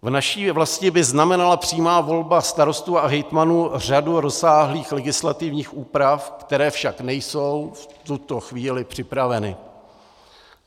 V naší vlasti by znamenala přímá volba starostů a hejtmanů řadu rozsáhlých legislativních úprav, které však nejsou v tuto chvíli připraveny.